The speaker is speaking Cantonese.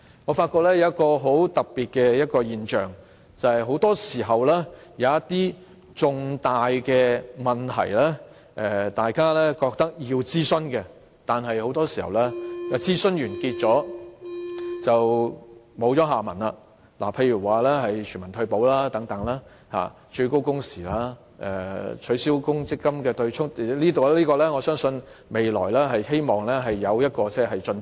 我發覺有一個很特別的現象，便是一些大家認為要進行諮詢的重大問題，很多時候在諮詢完結便沒了下文，例如全民退休保障、最高工時、取消強積金對沖——我希望未來會就此課題取得進展。